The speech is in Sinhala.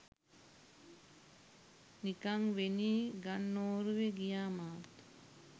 නිකංවෙනී ගන්නෝරුවෙ ගියා මාත්.